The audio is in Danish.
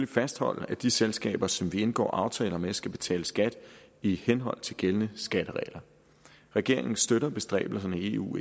fastholde at de selskaber som vi indgår aftaler med skal betale skat i henhold til gældende skatteregler regeringen støtter bestræbelserne i eu